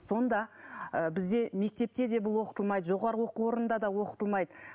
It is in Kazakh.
сонда ы бізде мектепте де бұл оқытылмайды жоғары оқу орынында да оқытылмайды